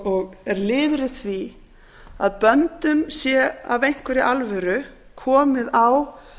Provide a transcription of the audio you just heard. og er liður í því að böndum sé af einhverri alvöru komið á